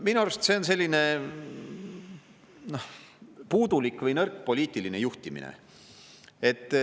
Minu arust see on puudulik või nõrk poliitiline juhtimine.